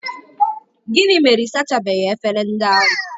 Gịnị mere ị sachabeghị efere ndị ahụ?